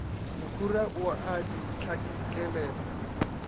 mokhura o a di hlakelela